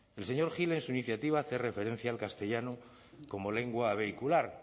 el señor gil en su iniciativa hace referencia el castellano como lengua vehicular